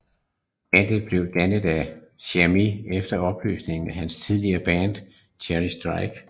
Bandet blev dannet af Černý efter opløsningen af hans tidligere band Charlie Straight